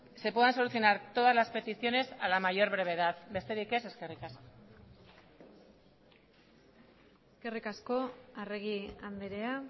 se puedan solucionar todas las peticiones a la mayor brevedad besterik ez eskerrik asko eskerrik asko arregi andrea